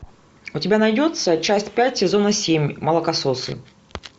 у тебя найдется часть пять сезона семь молокососы